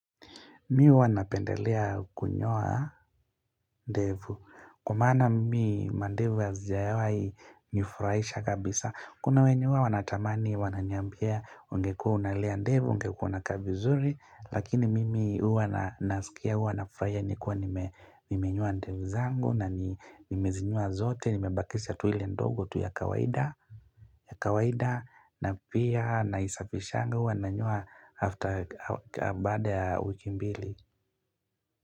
Mimi huwa napendelea kunyoa ndevu. Kwa maana mimi mandevu hazijawai nifurahisha kabisa. Kuna wenye huwa wanatamani wananiambia ungekua unalea ndevu, ungekua unakaa vizuri. Lakini mimi huwa nasikia huwa nafuruhia nikuwa nimenyoa ndevu zangu na nimezinyoa zote. Nimebakisha tu ile ndogo tu ya kawaida. Ya kawaida na pia naisafishanga huwa nanyua after baada ya wiki mbili.